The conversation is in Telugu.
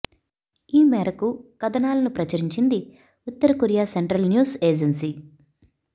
ఈ మేరకు కథనాలను ప్రచురించింది ఉత్తర కొరియా సెంట్రల్ న్యూస్ ఏజెన్సీ